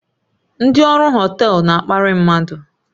Ndị ọrụ họtel na-akparị mmadụ